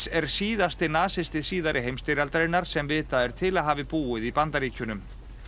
er síðasti nasisti síðari heimsstyrjaldarinnar sem vitað er til að hafi búið í Bandaríkjunum